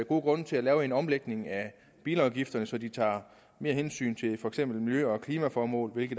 gode grunde til at lave en omlægning af bilafgifterne så de tager mere hensyn til for eksempel miljø og klimaformål og ikke